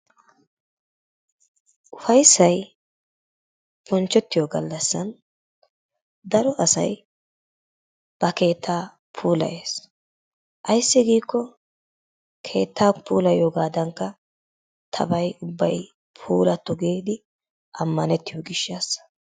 Ufayssay bonchettiyo gallassan daro asay ba keetta puulayes. Ayssi giikko keettaa puulayiyogadanikka tabay ubbay puulatto giidi amanettiyo gishshassa.